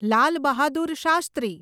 Lal Bahadur Shastri